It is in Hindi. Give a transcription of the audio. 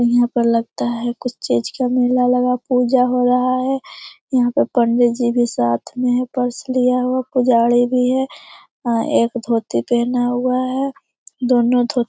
यहाँ पर लगता है कुछ चीज का मेल लगा पूजा हो रहा है यहाँ पर पंडी जी भी साथ मे है पर्स लिया हुआ पुजारी भी है एक धोती पहना हुआ है दोनों धो --